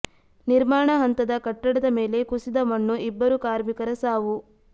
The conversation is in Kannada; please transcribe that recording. ನಿರ್ಮಾಣ ಹಂತದ ಕಟ್ಟಡದ ಮೇಲೆ ಕುಸಿದ ಮಣ್ಣು ಇಬ್ಬರು ಕಾರ್ಮಿಕರ ಸಾವು